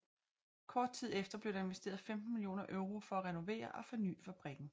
Kort tid efter blev der investeret 15 millioner euro for at renovere og forny fabrikken